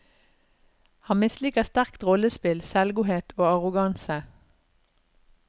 Han misliker sterkt rollespill, selvgodhet og arroganse.